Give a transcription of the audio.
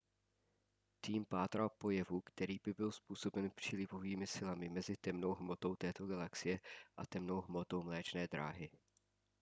tým pátral po jevu který by byl způsoben přílivovými silami mezi temnou hmotou této galaxie a temnou hmotou mléčné dráhy